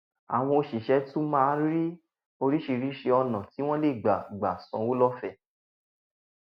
àwọn òṣìṣẹ́ tún máa ń rí oríṣiríṣi ọ̀nà tí wọ́n lè gbà gbà san owó lọ́fẹ̀ẹ́